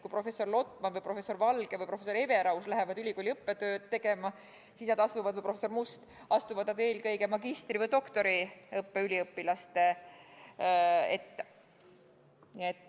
Kui professor Lotman, professor Valge, professor Everaus või professor Must lähevad ülikooli õppetööd tegema, siis nemad astuvad eelkõige magistri- või doktoriõppe üliõpilaste ette.